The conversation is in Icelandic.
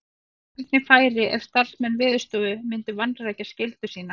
En hvernig færi ef starfsmenn Veðurstofu myndu vanrækja skyldu sína?